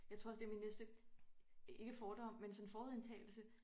Jeg tror også det min næste ikke fordom men sådan forudindtagelse